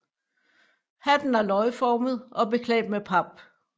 Hatten er løgformet og beklædt med pap